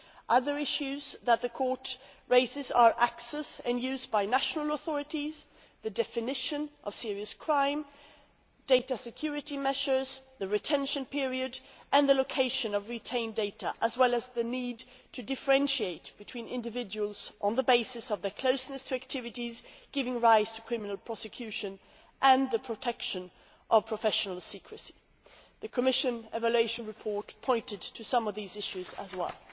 Other issues that the Court raises are access and use by national authorities, the definition of serious crime, data security measures, the retention period and the location of retained data, as well as the need to differentiate between individuals on the basis of their closeness to activities, giving rise to criminal prosecution, and the protection of professional secrecy. The Commission evaluation report pointed to some of these issues as well.